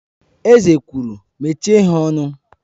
Eze kwuru, Mechie ha ọnụ!